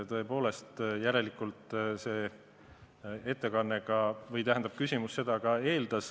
Tõepoolest, järelikult see ettekanne või küsimus seda ka eeldas.